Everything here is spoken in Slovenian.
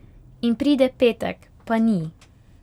In pride petek, pa ni.